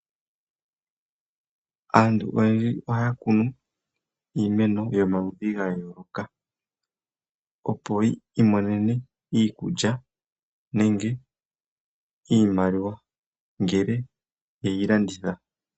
Aantu oyendji oha ya kunu iimeno yomaludhi ga yooloka, opo yi imonene iikulya nenge iimaliwa ngele ye yi landitha.